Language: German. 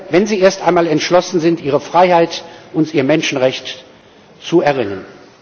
wenn sie erst einmal entschlossen sind, ihre Freiheit und ihr Menschenrecht zu erringen.